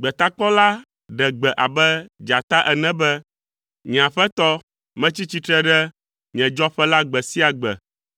Gbetakpɔla ɖe gbe abe dzata ene be, “Nye Aƒetɔ, metsi tsitre ɖe nye dzɔƒe la gbe sia gbe